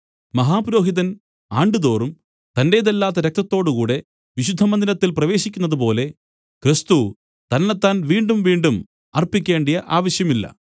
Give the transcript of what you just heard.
മഹാപുരോഹിതൻ ആണ്ടുതോറും തന്റേതല്ലാത്ത രക്തത്തോടുകൂടെ വിശുദ്ധമന്ദിരത്തിൽ പ്രവേശിക്കുന്നതുപോലെ ക്രിസ്തു തന്നെത്താൻ വീണ്ടുംവീണ്ടും അർപ്പിക്കേണ്ടിയ ആവശ്യമില്ല